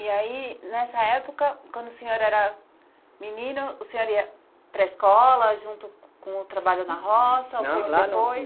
E aí, nessa época, quando o senhor era menino, o senhor ia para a escola, junto com o trabalho na roça. Não, lá não. Ou foi depois?